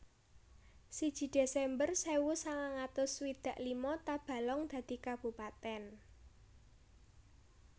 Siji Desember Sewu sangang atus swidak lima Tabalong dadi kabupatèn